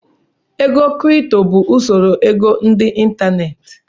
Ego kripto wụ usoro ego ndị ịntanetị.